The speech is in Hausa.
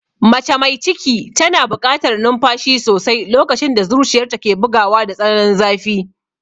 Mace mai ciki tana buƙatar numfashi sosai lokacin da zuciyarta ke bugawa da tsananin zafi.